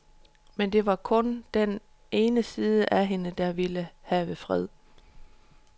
Men det var kun den ene side af hende, der ville have fred.